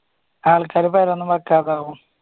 ആൾക്കാര് പേരെ ഒന്നും വെക്കാതാകും.